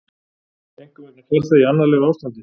Seinkun vegna farþega í annarlegu ástandi